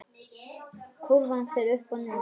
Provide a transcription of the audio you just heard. Kúrfan fer upp og niður.